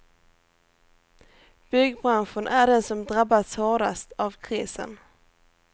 Byggbranschen är den som drabbats hårdast av krisen.